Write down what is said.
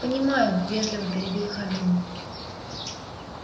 понимаю вежливо перебил хардин